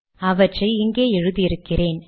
அவற்றை இங்கே எழுதி இருக்கிறேன்